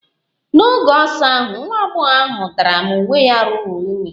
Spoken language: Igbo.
N'oge ọsọ ahụ, nwa agbọghọ ahụ dara ma uwe ya ruru unyi